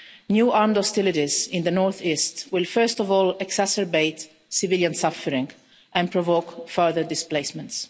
New armed hostilities in the north-east will first of all exacerbate civilian suffering and provoke further displacements.